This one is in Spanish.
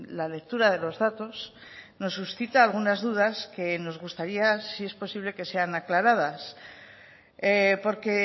la lectura de los datos nos suscita algunas dudas que nos gustaría si es posible que sean aclaradas porque